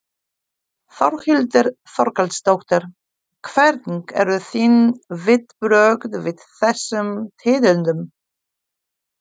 Þórhildur Þorkelsdóttir: Hvernig eru þín viðbrögð við þessum tíðindum?